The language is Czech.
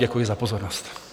Děkuji za pozornost.